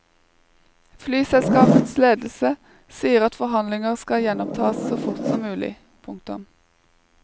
Flyselskapets ledelse sier at forhandlinger kan gjenopptas så fort som mulig. punktum